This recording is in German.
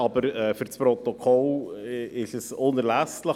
Für das Protokoll ist das unerlässlich.